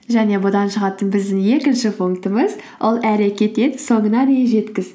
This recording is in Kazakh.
және бұдан шығатын біздің екінші пунктіміз ол әрекет ет соңына дейін жеткіз